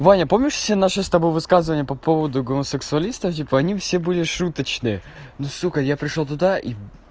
ваня помнишь все наше с тобой высказывания по поводу гомосексуалистов типа они все были шуточные ну сука я пришёл туда